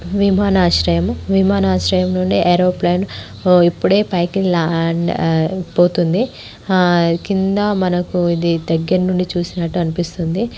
విమనాశ్రయము విమానాశ్రయము నుండి ఏరోప్లేన్ ఎప్పుడే పైకి ల్యాండ్ అయిపోతుంది కింద మనకి ఇది దగ్గర నుండి చూసినట్టు అనిపిస్తుంది.